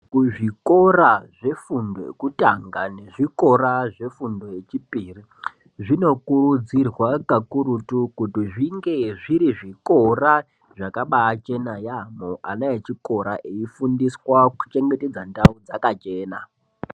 Kuzvikora zvefundo yekutanga nezvikora zvefundo yechipiri zvinokurudzirwa kakurutu kuti zvinge zviri zvikora zvakabaachena yaamho, ana echikora eifundiswa kuchengetedza ndau dzakachena.